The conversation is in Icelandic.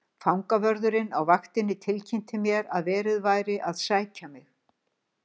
Fangavörðurinn á vaktinni tilkynnti mér að verið væri að sækja mig.